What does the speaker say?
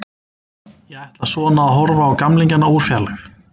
Ég ætla svona að horfa á gamlingjana úr fjarlægð.